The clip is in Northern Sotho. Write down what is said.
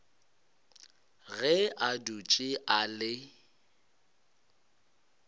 ge a dutše a le